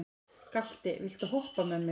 Galti, viltu hoppa með mér?